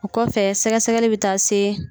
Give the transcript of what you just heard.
O kɔfɛ sɛgɛ sɛgɛli bɛ taa se